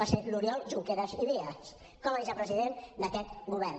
va ser l’oriol junqueras i vies com a vicepresident d’aquest govern